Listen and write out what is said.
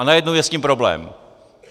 A najednou je s tím problém.